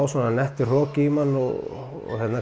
svona nettur hroki í mann og